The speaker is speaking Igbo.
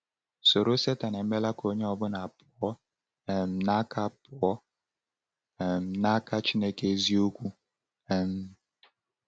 Ṣụ̀rọ̀ Satọn emeela ka onye ọ bụla pụọ um n’aka pụọ um n’aka Chineke eziokwu? um